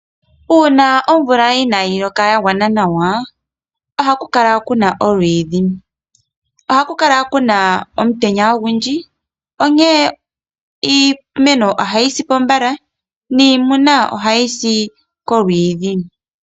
Uuna omvula inayi loka ya gwana nawa, ohaku kala kuna olwiidhi. Ohaku kala kuna omutenya ogundji. Onkene iimeno ohayi sipo mbala, niimuna ohayi sipo kolwiidhi.